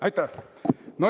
Aitäh!